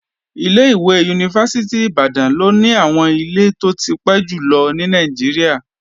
Ilé-ìwé Yunifásítì Ìbàdàn ló ní àwọn ilé tó ti pẹ́ jùlọ ní Nàìjíríà